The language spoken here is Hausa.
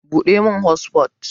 Buɗe min hotsufot